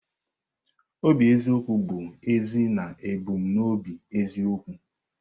Obi eziokwu bụ ezi na ebumnobi n'eziokwu.